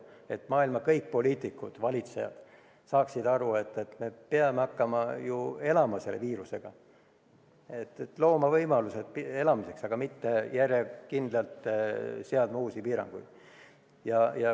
Kõik maailma poliitikud ja valitsejad peaksid aru saama, et me peame hakkama selle viirusega elama, me peame looma võimalused elamiseks, aga mitte järjekindlalt seadma uusi piiranguid.